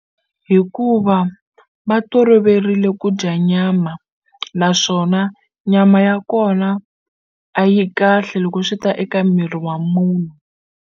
Hikuva va toloverile ku dya nyama naswona nyama ya kona a yi kahle loko swi ta eka miri wa munhu.